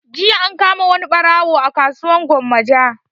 Jiya an kama wani ɓarawo a kasuwar gwammaja